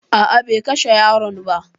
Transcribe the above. A'a be kashe yaron ba